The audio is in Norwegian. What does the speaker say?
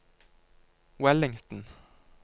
Wellington